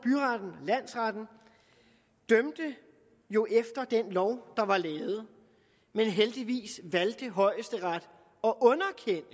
landsretten dømte jo efter den lov der var lavet men heldigvis valgte højesteret